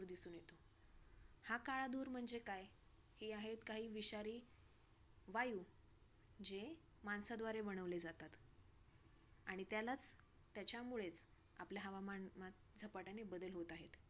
हा काळा धूर म्हणजे काय? हे आहेत काही विषारी वायू जे माणसाद्वारे बनवले जातात. आणि त्यालाच त्याच्यामुळेच आपले हवामान झपाट्याने बदल होत आहेत.